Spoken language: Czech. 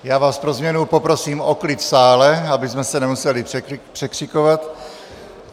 Já vás pro změnu poprosím o klid v sále, abychom se nemuseli překřikovat.